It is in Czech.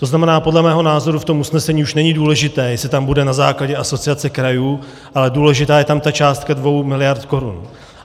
To znamená, podle mého názoru v tom usnesení už není důležité, jestli tam bude na základě Asociace krajů, ale důležitá je tam ta částka dvou miliard korun.